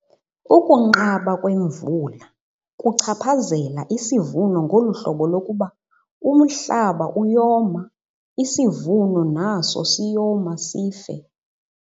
Ukunqaba kwemvula kuchaphazela isivuno ngolu hlobo lokuba umhlaba uyoma, isivuno naso siyoma sife.